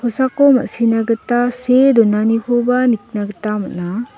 ma·sina gita see donanikoba nikna gita man·a.